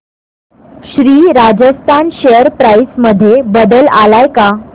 Shri Rajasthan share price मध्ये बदल आलाय का